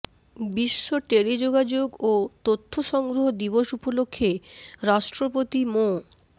বিশ্ব টেলিযোগাযোগ ও তথ্য সংঘ দিবস উপলক্ষে রাষ্ট্রপতি মো